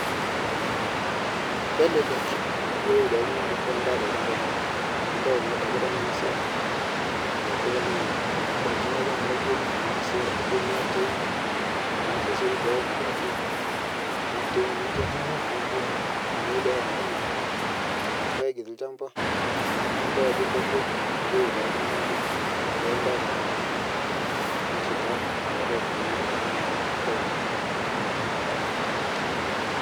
Kelelek pee eyiolou oltung'ani Ajo kadaa ewun tolchamba lino amu edol Ajo tenengasu ena endaiki naijio negesu mbenek atoi irpaek tolchamba nidol Ajo kegol pee eyiolou Ajo kadaa ewun tolchamba lino neeku eng'as oltung'ani aivuna